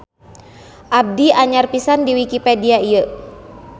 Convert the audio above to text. Abdi anyar pisan di wikipedia ieu.